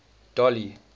dolly